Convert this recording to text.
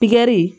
Pikiri